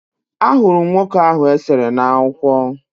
Ahụrụ m nwoke ahụ e sere n'akwụkwọ